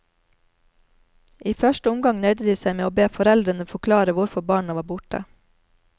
I første omgang nøyde de seg med å be foreldrene forklare hvorfor barna var borte.